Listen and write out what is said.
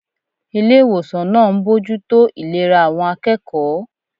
Ilé ìwòsàn náà ń bójú tó ìlera àwọn akẹ́kọ̀ọ́